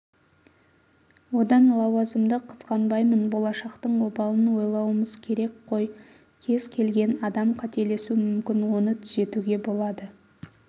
одан лауазымды қызғанбаймын болашақтың обалын ойлауымыз керек қой кез келген адам қателесу мүмкін оны түзеуге болады